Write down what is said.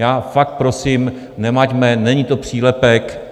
Já vás prosím, nemaťme, není to přílepek.